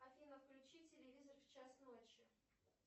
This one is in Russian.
афина включи телевизор в час ночи